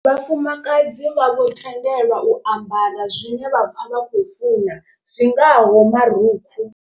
Vhafumakadzi vha vho tendelwa u ambara zwine vha pfha vha khou funa zwingaho marukhu.